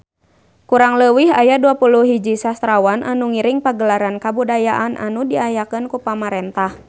Kurang leuwih aya 21 sastrawan anu ngiring Pagelaran Kabudayaan anu diayakeun ku pamarentah